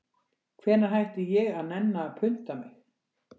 Hvenær hætti ég að nenna að punta mig